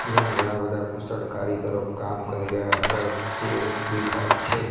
જ્યાં ઘણા બધા કુશળ કારીગરો કામ કરી રહ્યા હોય એવુ દેખાય છે.